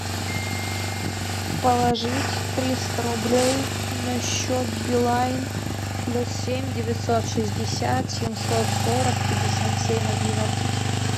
положить триста рублей на счет билайн плюс семь девятьсот шестьдесят семьсот сорок пятьдесят семь одиннадцать